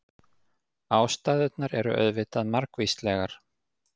Ástæðurnar eru auðvitað margvíslegar.